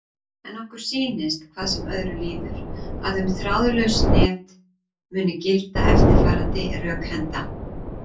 En okkur sýnist, hvað sem öðru líður, að um þráðlaus net muni gilda eftirfarandi rökhenda: